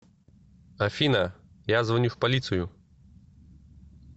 афина я звоню в полицию